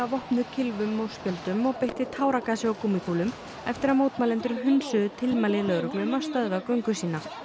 vopnuð kylfum og skjöldum og beitti táragasi og gúmmíkúlum eftir að mótmælendur hunsuðu tilmæli lögreglu um að stöðva göngu sína